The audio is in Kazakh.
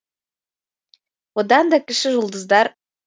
одан да кіші жұлдыздар